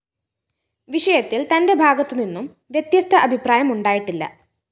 വിഷയത്തില്‍ തന്റെ ഭാഗത്തു നിന്നും വ്യത്യസ്ത അഭിപ്രായമുണ്ടായിട്ടില്ല